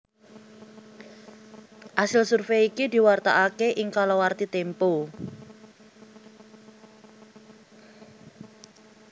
Asil survèy iki diwartakaké ing kalawarti Tempo